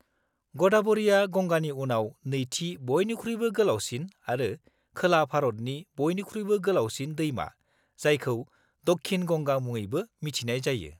-गदाब'रिआ गंगानि उनाव नैथि बयनिख्रुइबो गोलावसिन आरो खोला भारतनि बयनिख्रुइबो गोलावसिन दैमा जायखौ 'दक्षिण गंगा' मुङैबो मिथिनाय जायो।